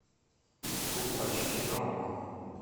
фул айч ди на окко